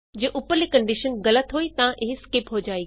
ਜੇ ਉਪਰਲੀ ਕੰਡੀਸ਼ਨ ਗਲਤ ਹੋਈ ਤਾਂ ਇਹ ਸਕਿਪ ਹੋ ਜਾਏਗੀ